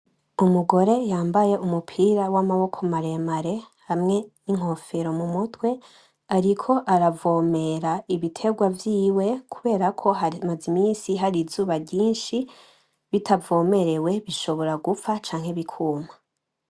Umugore yambaye umupira wamaboko maremare hamwe ninkofero mumutwe ariko aravomera ibiterwa vyiwe kuberako hari hamaze iminsi hari izuba ryinshi bitavomerewe bishobora gupfa canke bikuma .